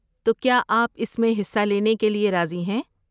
تو، کیا آپ اس میں حصہ لینے کے لیے راضی ہیں؟